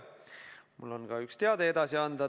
Mul on ka üks teade edasi anda.